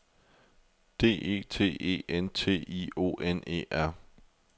D E T E N T I O N E R